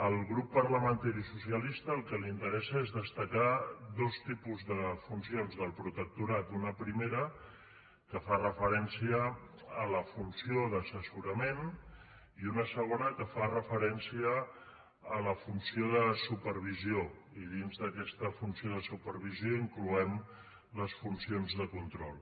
al grup parlamentari socialista el que li interessa és destacar dos tipus de funcions del protectorat una primera que fa referència a la funció d’assessorament i una segona que referència a la funció de supervisió i dins d’aquesta funció de supervisió incloem les funcions de control